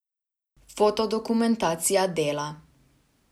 Fotodokumentacija Dela.